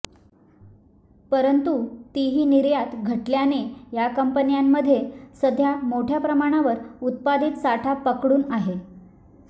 परंतु तीही निर्यात घटल्याने या कंपन्यांमध्ये सध्या मोठ्या प्रमाणावर उत्पादित साठा पकडून आहे